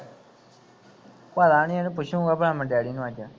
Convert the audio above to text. ਪਤਾ ਨਹੀ ਉਹਨੂੰ ਪੁੱਛਗਾਂ ਭਰਾ ਮੈਂ ਡੈਂਡੀ ਨੂੰ ਅੱਜ